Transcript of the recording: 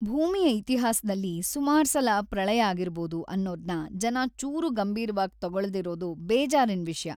ಭೂಮಿಯ ಇತಿಹಾಸ್ದಲ್ಲಿ ಸುಮಾರ್ಸಲ ಪ್ರಳಯ ಆಗಿರ್ಬೋದು ಅನ್ನೋದ್ನ ಜನ ಚೂರೂ ಗಂಭೀರ್ವಾಗ್‌ ತಗೊಳ್ದಿರೋದು ಬೇಜಾರಿನ್‌ ವಿಷ್ಯ.